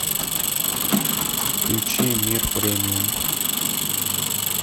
включи мир премиум